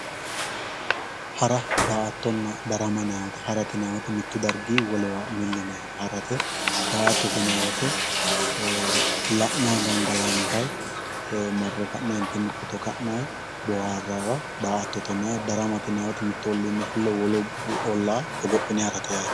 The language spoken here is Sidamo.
Hara, daa"attonna darama ,hara yinanni woyte mitu darginni milli yinanni harate ,daa"atta yinanni woyte la'nanni gangalattayi marre ka'nentinni footto ka'nayi booharayiwa daa"attote yinanni, darama yinanni woyte mitu ollinni fulle hogophine harate yaate.